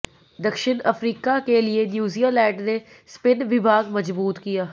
दक्षिण अफ्रीका के लिये न्यूजीलैंड ने स्पिन विभाग मजबूत किया